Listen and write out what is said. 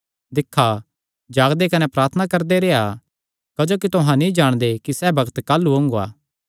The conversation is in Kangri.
दिक्खा जागदे कने प्रार्थना करदे रेह्आ क्जोकि तुहां नीं जाणदे कि सैह़ बग्त काह़लू ओंगा